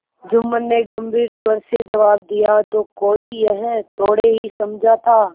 जुम्मन ने गम्भीर स्वर से जवाब दियातो कोई यह थोड़े ही समझा था